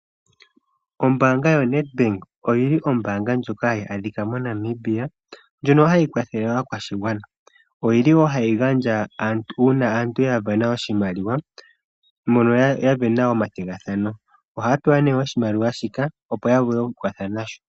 Ombaanga yoNEDBANK oyi li ombaanga ndjoka hayi adhika moNamibia ndjono hayi kwathele aakwashigwana. Oyi li wo hayi gandja una aantu ya vena oshimaliwa mbono ya vena oma thigathano. Oha ya pewa ne oshimaliwa shika opo ya vule okwiikwatha na sho.